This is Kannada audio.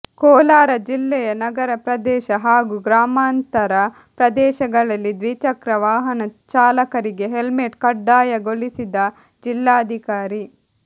ಕೋಲಾರ ಜಿಲ್ಲೆಯ ನಗರ ಪ್ರದೇಶ ಹಾಗೂ ಗ್ರಾಮಾಂತರ ಪ್ರದೇಶಗಳಲ್ಲಿ ದ್ವಿಚಕ್ರ ವಾಹನ ಚಾಲಕರಿಗೆ ಹೆಲ್ಮೆಟ್ ಕಡ್ಡಾಯಗೊಳಿಸಿದ ಜಿಲ್ಲಾಧಿಕಾರಿ